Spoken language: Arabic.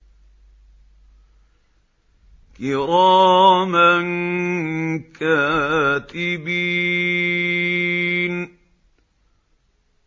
كِرَامًا كَاتِبِينَ